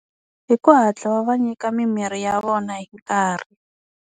Hi ku hatla va va nyika mimirhi ya vona hi nkarhi.